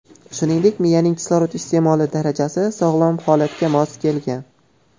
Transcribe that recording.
Shuningdek, miyaning kislorod iste’moli darajasi sog‘lom holatga mos kelgan.